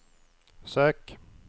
sök